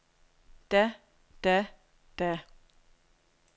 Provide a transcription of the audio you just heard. da da da